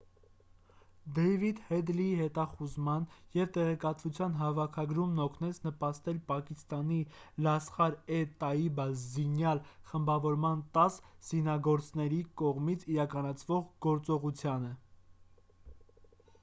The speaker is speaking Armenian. դեյվիդ հեդլիի հետախուզման և տեղեկտվության հավաքագրումն օգնեց նպաստել պակիստանի լասխար-է-տաիբա զինյալ խմբավորման 10 զինագործների կողմից իրականացվող գործողությանը